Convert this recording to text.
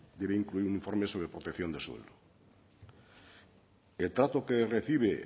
debe incluir un informe sobre protección de suelo el trato que recibe